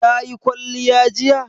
Ta yi kwalliya jiya?